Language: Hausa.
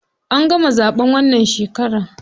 An gama zaɓen wannan shekarar.